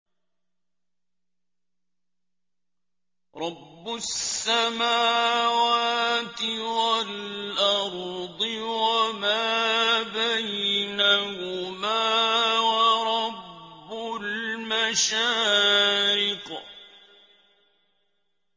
رَّبُّ السَّمَاوَاتِ وَالْأَرْضِ وَمَا بَيْنَهُمَا وَرَبُّ الْمَشَارِقِ